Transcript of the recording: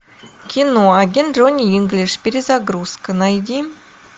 кино агент джонни инглиш перезагрузка найди